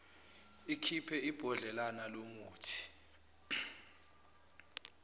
ikhiphe ibhodlelana lomuthi